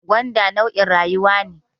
Gwanda launin rawaya ne